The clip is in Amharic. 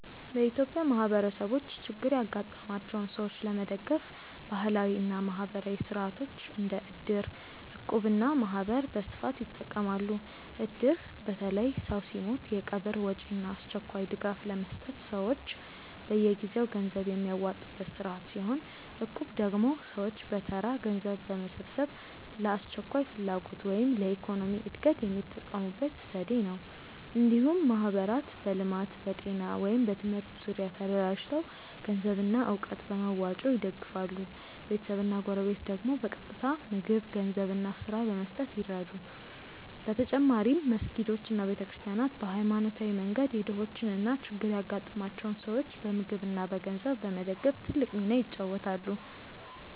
በኢትዮጵያ ማህበረሰቦች ችግር ያጋጠማቸውን ሰዎች ለመደገፍ ባህላዊ እና ማህበራዊ ሥርዓቶች እንደ እድር፣ እቁብ እና ማህበር በስፋት ይጠቀማሉ። እድር በተለይ ሰው ሲሞት የቀብር ወጪ እና አስቸኳይ ድጋፍ ለመስጠት ሰዎች በየጊዜው ገንዘብ የሚያዋጡበት ስርዓት ሲሆን፣ እቁብ ደግሞ ሰዎች በተራ ገንዘብ በመሰብሰብ ለአስቸኳይ ፍላጎት ወይም ለኢኮኖሚ እድገት የሚጠቀሙበት ዘዴ ነው። እንዲሁም ማህበራት በልማት፣ በጤና ወይም በትምህርት ዙሪያ ተደራጅተው ገንዘብና እውቀት በመዋጮ ይደግፋሉ፤ ቤተሰብና ጎረቤት ደግሞ በቀጥታ ምግብ፣ ገንዘብ እና ስራ በመስጠት ይረዱ። በተጨማሪም መስጊዶች እና ቤተ ክርስቲያናት በሃይማኖታዊ መንገድ የድሆችን እና ችግር ያጋጠማቸውን ሰዎች በምግብ እና በገንዘብ በመደገፍ ትልቅ ሚና ይጫወታሉ።